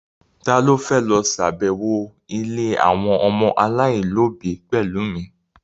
Ta ló fẹ́ lọ ṣàbẹ̀wọ̀ ilé àwọn ọmọ aláìlóbi pẹ̀lú mi?